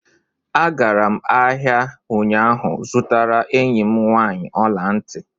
A gara m ahịa ụnyaahụ zụtara enyi m nwaanyị ọla ntị